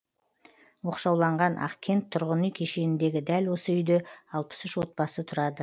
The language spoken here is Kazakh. оқшауланған ақкент тұрғын үй кешеніндегі дәл осы үйде алпыс үш отбасы тұрады